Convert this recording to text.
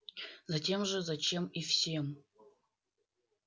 затем же зачем и всем